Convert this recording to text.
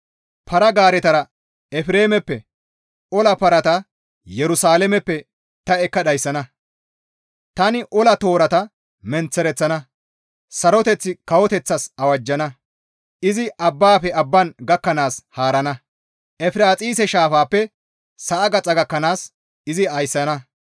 Para-gaareta Efreemeppe ola parata Yerusalaameppe ta ekka dhayssana. Tani ola toorata menththereththana. Saroteth kawoteththatas awajjana. Izi abbaafe abban gakkanaas haarana; Efiraaxise shaafappe sa7a gaxa gakkanaas izi ayssana.